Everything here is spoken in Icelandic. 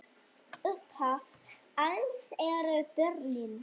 Upphaf alls eru börnin.